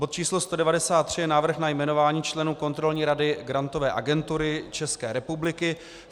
Bod číslo 193 je návrh na jmenování členů Kontrolní rady Grantové agentury České republiky.